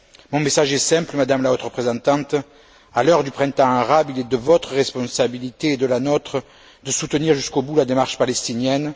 Mon message est simple, Madame la Haute représentante, à l'heure du printemps arabe, il est de votre responsabilité et de la nôtre de soutenir jusqu'au bout la démarche palestinienne.